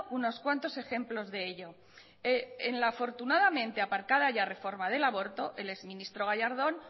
unos cuantos ejemplos de ello en la afortunadamente aparcada ya reforma del aborto el exministro gallardón